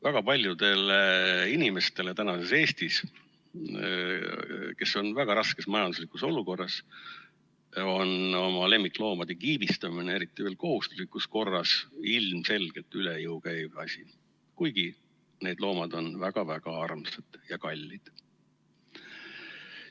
Väga paljudele inimestele tänases Eestis, kes on väga raskes majanduslikus olukorras, on oma lemmikloomade kiibistamine, eriti veel kohustuslikus korras, ilmselgelt üle jõu käiv asi, kuigi need loomad on väga-väga armsad ja kallid.